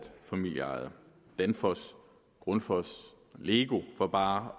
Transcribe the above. familieejet danfoss grundfos og lego for bare